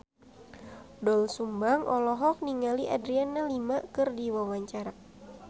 Doel Sumbang olohok ningali Adriana Lima keur diwawancara